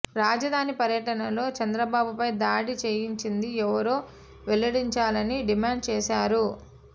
రాజధాని పర్యటనలో చంద్రబాబుపై దాడి చేయించింది ఎవరో వెల్లడించాలని డిమాండ్ చేశారు